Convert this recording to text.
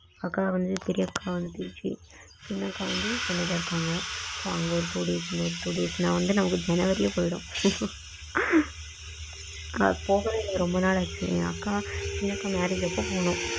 அதான் வந்து பெரிய அக்கா வந்துச்சு சின்ன அக்கா வந்து சென்னையில இருகாங்க so அங்க ஒரு two days இங்க ஒரு two days ன்னு ஜனவரி யே போயிடும் போகவே ரெம்ப நாள் ஆச்சு அக்கா சின்ன அக்கா marriage அப்போ போனோம்.